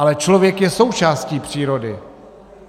Ale člověk je součástí přírody.